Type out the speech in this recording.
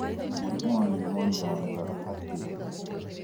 Mũrimũ wa nimonia wonekaga atĩa?